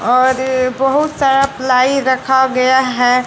और बहोत सारा प्लाई रखा गया है।